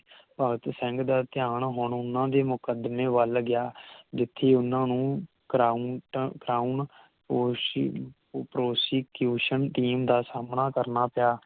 ਭਗਤ ਸਿੰਘ ਦਾ ਧਿਆਨ ਹੁਣ ਓਹਨਾ ਦੇ ਮੁਕਦਮੇ ਵੱਲ ਗਿਆ ਜਿਥੇ ਓਹਨਾ ਨੂੰ Craunt Craun OC ProstitutionTeam ਦਾ ਸਾਹਮਣਾ ਕਰਨਾ ਪਿਆ